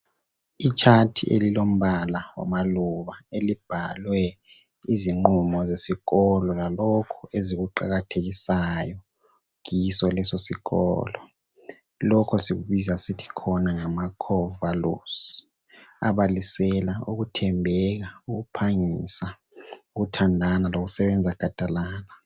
Ichart elilombala wamaluba elibhalwe izinqumo zesikolo zalokho ezikuqakathekisayo kiso leso sikolo, lokho sikubiza sithi khona ngama 'Core values' abalisela ukuthembeka, ukuphangisa, ukuthandana lokusebenza gadalala